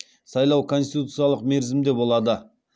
сайлау конституциялық мерзімде болады